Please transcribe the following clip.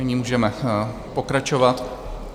Nyní můžeme pokračovat.